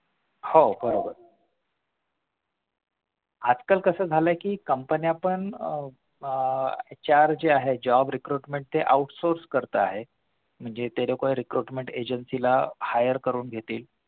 हो बरोबर आजकाल कसं झालाय कि company पण आह HR जे आहेत job recruitment ते outsource करत आहेत म्हणजे ते recruitment agencies ला hire करून घेतील